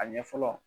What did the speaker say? A ɲɛfɔ